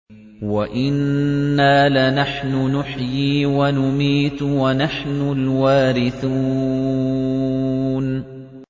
وَإِنَّا لَنَحْنُ نُحْيِي وَنُمِيتُ وَنَحْنُ الْوَارِثُونَ